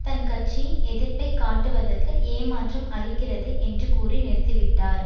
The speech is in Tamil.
தன் கட்சியின் எதிர்ப்பை காட்டுவதற்கு ஏமாற்றம் அளிக்கிறது என்று கூறி நிறுத்திவிட்டார்